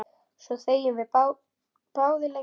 Svo þegjum við báðar lengi.